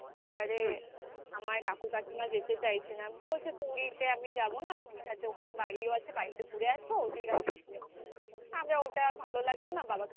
এবারে আমার কাকু কাকিমা যেতে চাইছে না. বলছে পুরীতে আমি যাবো না. দীঘাতে ওখানে বাড়িও আছে. বাড়িতে ঘুরে আসবো আমার ওটা ভালো লাগলো না